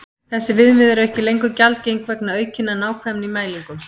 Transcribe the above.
Þessi viðmið eru ekki lengur gjaldgeng vegna aukinnar nákvæmni í mælingum.